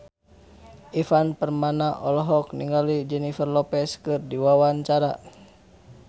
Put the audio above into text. Ivan Permana olohok ningali Jennifer Lopez keur diwawancara